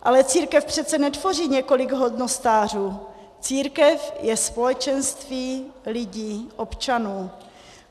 Ale církev přece netvoří několik hodnostářů, církev je společenství lidí, občanů.